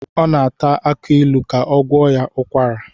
O na-ata akiilu ka ọ gwọọ ya ukwara